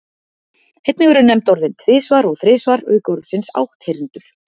Einnig eru nefnd orðin tvisvar og þrisvar auk orðsins átthyrndur.